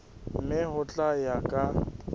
mme ho tla ya ka